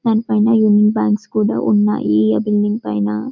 దానిపైన యూనిఫాంక్స్ కూడా ఉన్నాయి ఆ బిల్డింగ్ పైన.